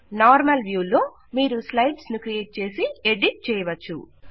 normal view లో మీరు slides ను క్రియేట్ చేసి ఎడిట్ చేయవచ్చు